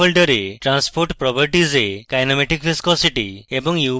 constant ফোল্ডারে transport properties এ kinematic viscosity